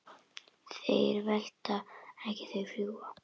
Þeir velta ekki, þeir fljúga.